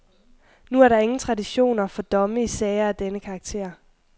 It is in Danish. Nu er der ingen traditioner for domme i sager af denne karakter.